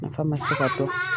fa man se ka bɔ.